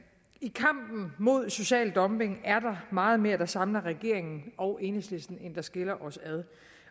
i kampen mod social dumping er der meget mere der samler regeringen og enhedslisten end der skiller os ad